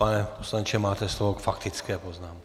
Pane poslanče, máte slovo k faktické poznámce.